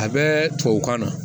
A bɛ tubabukan na